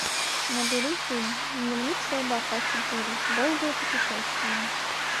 набери фильм дневник слабака четыре долгое путешествие